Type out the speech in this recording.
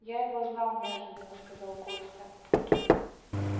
я его знал неожиданно сказал костя